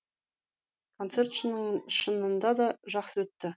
концерт шынында да жақсы өтті